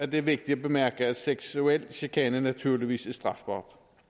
det er vigtigt at bemærke at seksuel chikane naturligvis er strafbart